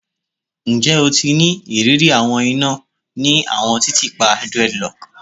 Njẹ o ti ni iriri awọn ina ni awọn titiipa dreadlocks?